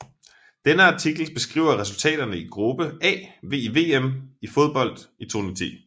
Denne artikel beskriver resultaterne i gruppe A i VM i fodbold 2010